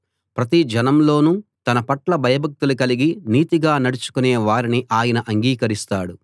ప్రతి జనంలోనూ తనపట్ల భయభక్తులు కలిగి నీతిగా నడుచుకునే వారిని ఆయన అంగీకరిస్తాడు